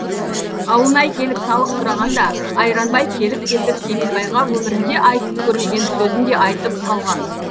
ауылнай келіп салық сұрағанда айранбай келіп кетіп кемелбайға өмірінде айтып көрмеген сөзін де айтып салған